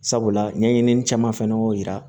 Sabula ɲɛɲinini caman fana y'o yira